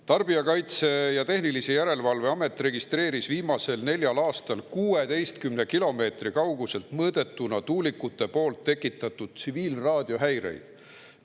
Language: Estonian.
Tarbijakaitse ja Tehnilise Järelevalve Amet registreeris viimasel neljal aastal 16 kilomeetri kauguselt mõõdetuna tuulikute tekitatud tsiviilraadiohäireid.